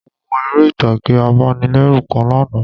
Mo wo eré ìtàgé abanilérù kan lánàá